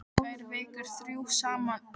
Tvær vikur, þrjú saman í íbúð, stanslaus gleði.